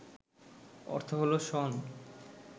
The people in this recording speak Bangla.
অর্থ হলো শণ